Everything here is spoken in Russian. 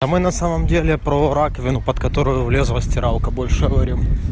а мы на самом деле про раковину под которую влезла стиралка больше говорим